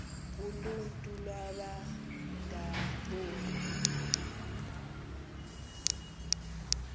uluntu iwaba ngaboni